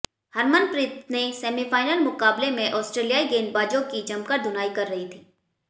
हरमनप्रीत ने सेमीफाइनल मुकाबले में ऑस्ट्रेलियाई गेंदबाजों की जमकर धुनाई कर रही थी